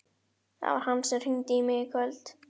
Það var hann sem hringdi í mig í kvöld.